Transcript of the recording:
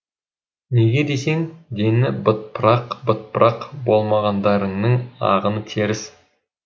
неге десең дені бытпырақ бытпырақ болмағандарының ағыны теріс